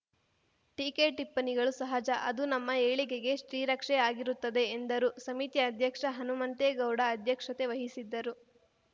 ಟೀಕೆ ಟಿಪ್ಪಣಿಗಳು ಸಹಜ ಅದು ನಮ್ಮ ಏಳಿಗೆಗೆ ಶ್ರೀರಕ್ಷೆ ಆಗಿರುತ್ತದೆ ಎಂದರು ಸಮಿತಿ ಅಧ್ಯಕ್ಷ ಹನುಮಂತೇಗೌಡ ಅಧ್ಯಕ್ಷತೆ ವಹಿಸಿದ್ದರು